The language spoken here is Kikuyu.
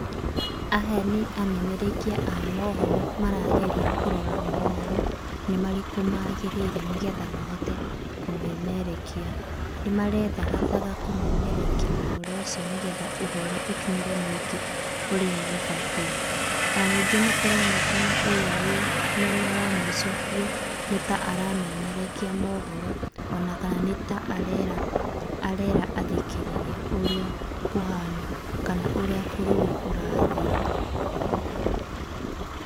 Aya nĩ amemerekia a mohoro marageria kũrora mohoro nĩmarĩkũ magĩrĩire nĩgetha mahote kũmemerekia. Nĩmarethagathaga kũmemerekia ũhoro ũcio nĩgetha ũhoro ũkinyĩre mũingĩ ũrĩa gũbatiĩ. Ona ningĩ nĩkũronekana ũrĩa wi mwena wa mũico biũ nĩta aramemerekia mohoro, ona kana nĩta arera, arera athikĩrĩria ũrĩa kũhana kana ũrĩa bũrũri ũrathiĩ.